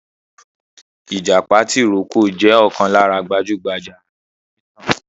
ìjàpá tìrókò jẹ̀ ọ̀kan lára gbajúgbajà alọ onítàn.